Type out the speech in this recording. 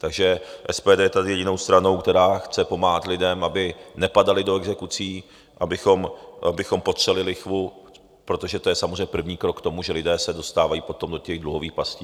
Takže SPD je tady jedinou stranou, která chce pomáhat lidem, aby nepadali do exekucí, abychom potřeli lichvu, protože je to samozřejmě první krok k tomu, že lidé se dostávají potom do těch dluhových pastí.